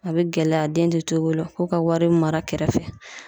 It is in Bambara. A be gɛlɛya den te to i bolo . Ko ka wari mara kɛrɛfɛ.